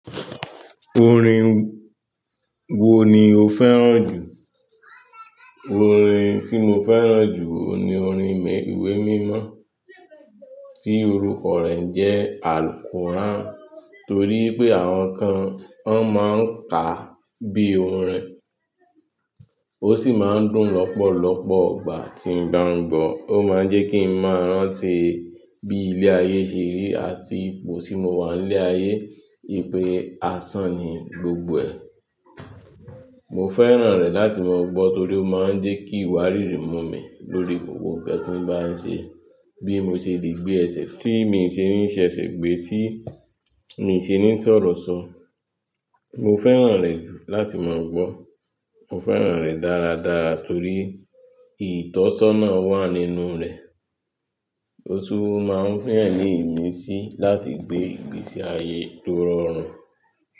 Orin wo ni o fẹ́ràn jù? Orin tí mo fẹ́ràn jù ni orin ìwé mímọ́ tí orúkọ rẹ̀ njẹ́ Al-Quran. Torí pé àwọn kan wọn máa ń kà bí orin, ó sì máa ń dùn lọ́pọ̀lọpọ̀ igbà tí ń ba n gbọ́n. Ó máa ń jẹ́ kí n ma rantí bí ilé ayé ṣe rí àti ipò tí mo wà ní ilé ayé. Wípé asan ni gbogbo ẹ̀. Mo fẹ́ràn rẹ̀ láti máa gbọ́ torí ó máa ń jẹ́ kí ìwà rírì mumi lórí gbogbo ǹkan tí ń bá ń ṣe. Bí mo ṣe lè gbé ẹ̀sẹ̀ tí mi ṣe ní í se ẹsẹ̀ gbé, tí mi ṣe ní sọọrọ ṣọ. Mo fẹ́ràn rẹ̀ jù láti máa gbọ́. Mo fẹ́ràn rẹ̀ dára dára torí ìtọ́sọ́nà wà nínú rẹ̀. Ó tún máa ń fún eeyan ní imisí láti gbé ìgbésí ayé tó rọrùn.